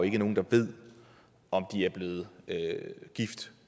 ikke nogen der ved om de er blevet gift